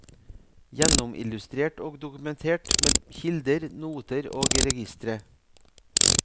Gjennomillustrert og dokumentert med kilder, noter og registre.